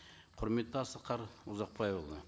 құрметті асқар ұзақбайұлы